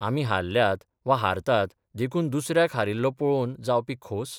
आमी हारल्यात वा हारतात देखून दुसऱ्याक हारिल्लो पळोवन जावपी खोस?